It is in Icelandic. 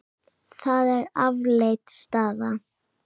Það er afleit staða.